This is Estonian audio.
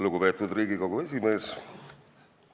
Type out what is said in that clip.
Lugupeetud Riigikogu esimees!